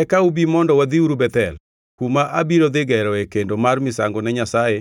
Eka ubi mondo wadhiuru Bethel, kuma abiro dhi geroe kendo mar misango ne Nyasaye,